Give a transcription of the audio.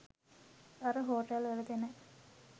අර හෝටල් වල දෙන